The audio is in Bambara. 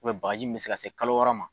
bagaji min bɛ se ka se kalo wɔɔrɔ ma.